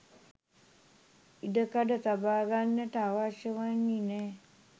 ඉඩකඩ තබාගන්නට අවශ්‍ය වන්නේ නැහැ